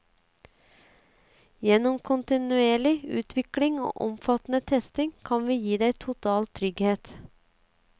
Gjennom kontinuerlig utvikling og omfattende testing kan vi gi deg total trygghet.